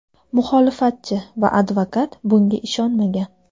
Muxolifatchi va advokat bunga ishonmagan.